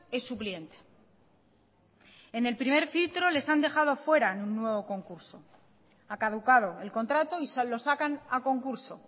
es su cliente en el primer filtro les han dejado fuera en un nuevo concurso ha caducado el contrato y lo sacan a concurso